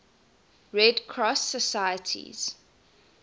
red cross societies